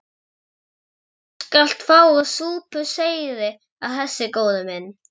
Þú skalt fá að súpa seyðið af þessu, góði minn.